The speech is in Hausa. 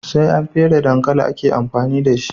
Sai an fere dankali ake amfani dashi